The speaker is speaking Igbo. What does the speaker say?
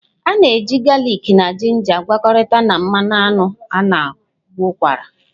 A na-eji galịk na ginger gwakọtara na mmanụ aṅụ na-agwọ ụkwara.